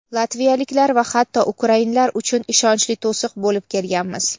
latviyaliklar va hatto ukrainlar uchun ishonchli to‘siq bo‘lib kelganmiz.